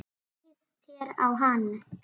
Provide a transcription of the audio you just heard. Hvernig leist þér á hann?